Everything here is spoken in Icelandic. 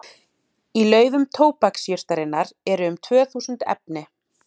Í laufum tóbaksjurtarinnar eru um tvö þúsund efni.